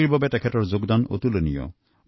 হকীৰ ক্ষেত্ৰখনত তেওঁৰ অৱদান অতুলনীয়